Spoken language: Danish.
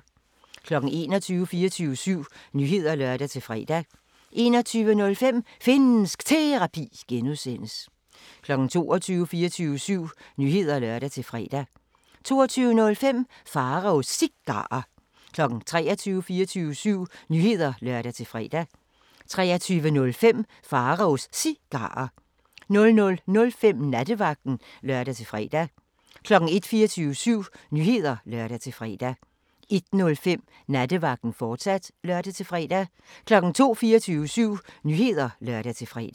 21:00: 24syv Nyheder (lør-fre) 21:05: Finnsk Terapi (G) 22:00: 24syv Nyheder (lør-fre) 22:05: Pharaos Cigarer 23:00: 24syv Nyheder (lør-fre) 23:05: Pharaos Cigarer 00:05: Nattevagten (lør-fre) 01:00: 24syv Nyheder (lør-fre) 01:05: Nattevagten, fortsat (lør-fre) 02:00: 24syv Nyheder (lør-fre)